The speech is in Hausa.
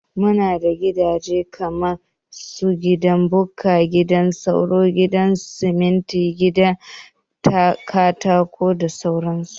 Muna da gidaje kaman su, gidan Bukka, gidan soro, gidan siminti, gidan Katako da sauran su